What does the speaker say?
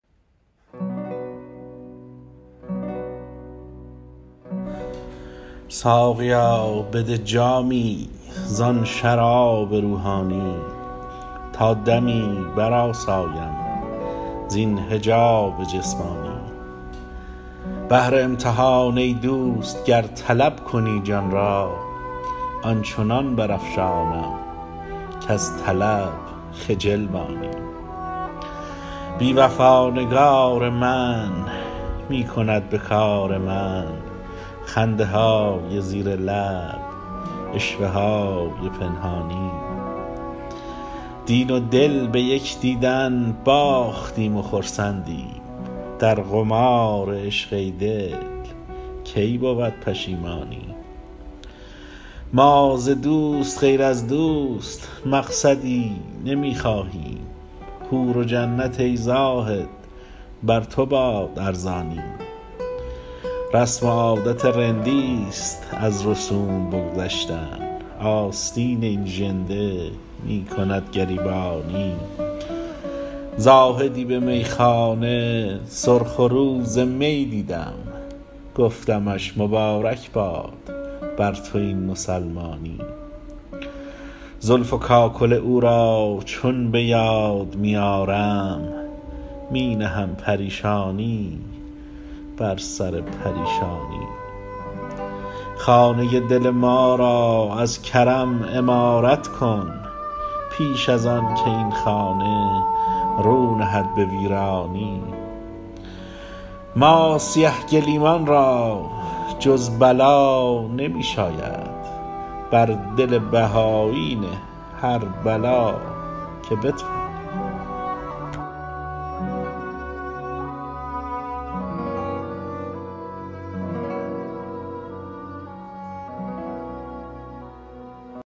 ساقیا بده جامی زآن شراب روحانی تا دمی برآسایم زین حجاب جسمانی بهر امتحان ای دوست گر طلب کنی جان را آن چنان برافشانم کز طلب خجل مانی بی وفا نگار من می کند به کار من خنده های زیر لب عشوه های پنهانی دین و دل به یک دیدن باختیم و خرسندیم در قمار عشق ای دل کی بود پشیمانی ما ز دوست غیر از دوست مقصدی نمی خواهیم حور و جنت ای زاهد بر تو باد ارزانی رسم و عادت رندی ست از رسوم بگذشتن آستین این ژنده می کند گریبانی زاهدی به میخانه سرخ رو ز می دیدم گفتمش مبارک باد بر تو این مسلمانی زلف و کاکل او را چون به یاد می آرم می نهم پریشانی بر سر پریشانی خانه دل ما را از کرم عمارت کن پیش از آن که این خانه رو نهد به ویرانی ما سیه گلیمان را جز بلا نمی شاید بر دل بهایی نه هر بلا که بتوانی